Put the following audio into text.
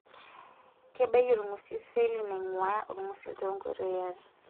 Kebaiki olng'usil seli nainguaya olngusil tto nkoitoi are.